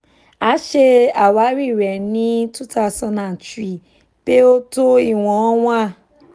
a ṣe awari rẹ ni two thousand and three pe o to iwọn one